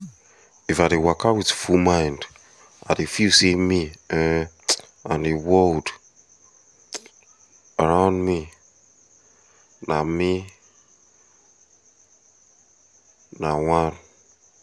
if i dey waka with full mind i dey feel say me um and the world um around me na me na one